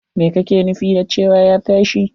Me kake nufin da cewa ya tashi!